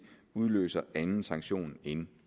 udløser anden sanktion end